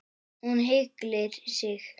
Hún ygglir sig.